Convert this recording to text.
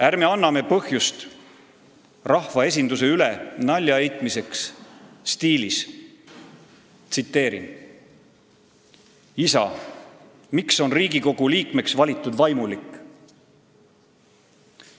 Ärme anname põhjust rahvaesinduse üle nalja heitmiseks stiilis: "Isa, miks on Riigikogu liikmeks valitud vaimulik?